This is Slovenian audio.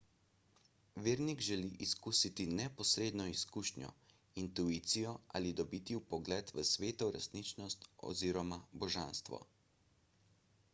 vernik želi izkusiti neposredno izkušnjo intuicijo ali dobiti vpogled v sveto resničnost oz. božanstvo